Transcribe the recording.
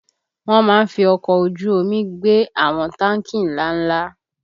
Wọ́n má ń fi ọkọ̀ ojú omi gbé àwọn táǹkì ńlá ńlá